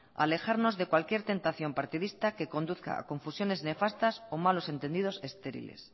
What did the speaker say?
alejarnos de cualquier tentación partidista que conduzca a confusiones nefastas o malos entendidos estériles